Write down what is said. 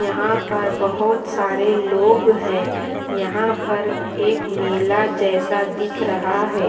यहाँ पर बहुत सारे लोग हैं यहाँ पर एक मेला जैसा दिख रहा है।